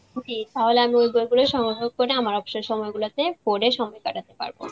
তাহলে আমি ওই গল্পটাই সংগ্রহ করে আমার অবসর সময় গুলাতে পড়ে সময় কাটাতে পারব.